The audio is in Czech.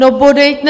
No, bodejť, ne?